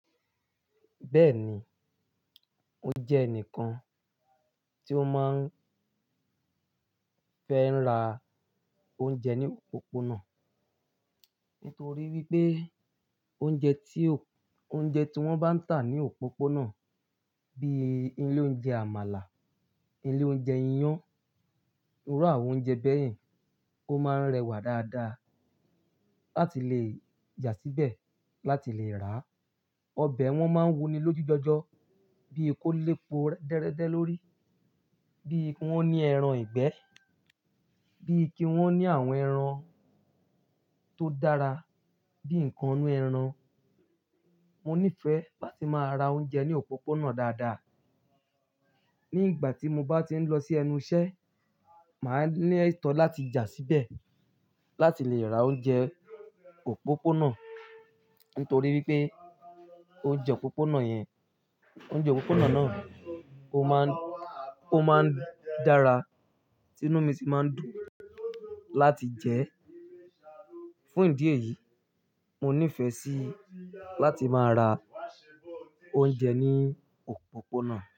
Bẹ́ẹ̀ni, mo jẹ ẹnìkan tí ó máa ń fẹ́ ra oúnjẹ ní òpópónà. Nítorí wípé oúnjẹ tí, oúnjẹ tí wón bá ń tà ní òpópónà bí i ilé oúnjẹ àmàlà, ilé oúnjẹ iyán, irú àwọn oúnjẹ bẹ́ẹ̀, ó máa ń rẹwà dáadáa láti lè yà síbẹ̀ láti lè ràá. Ọbẹ̀ wọn máa ń wuni lójú gbígbọ́, bí i kó lépo déédéé lórí, bí i kí wón ní ẹran ìgbẹ́, bí i kí wón ní àwọn ẹran tó dára, bí i nǹkan inú ẹran. Mo nífẹ̀ẹ́ láti máa ra oúnjẹ ní òpópónà dáadáa. Ní ìgbà tí mo bá ti ń lọ sí ẹnu iṣẹ́, màá ní ètò láti yà síbẹ̀ láti lè ra oúnjẹ òpópónà. Nítorí wípé oúnjẹ òpópónà yẹn, oúnjẹ òpópónà náà ó máa ń, ó máa ń dára, tinú mi sì máa ń dùn láti jẹ ẹ́. Fún ìdí èyí, mo nífẹ̀ẹ́ sí láti máa ra oúnjẹ ní òpópónà.